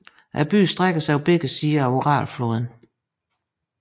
Byen strækker sig på begge sider af Uralfloden